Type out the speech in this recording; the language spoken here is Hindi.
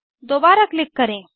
दोबारा क्लिक करें